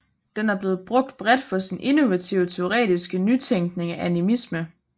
Den er blevet brugt bredt for sin innovative teoretiske nytænkning af animisme